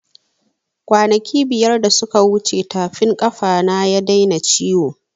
Kwanaki biyar da suka wuce tafin ƙafa na ya daina ciwo